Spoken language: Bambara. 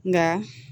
Nka